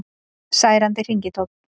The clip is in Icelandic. Særandi hringitónn